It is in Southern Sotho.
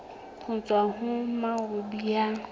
ho tswa ho moabi ya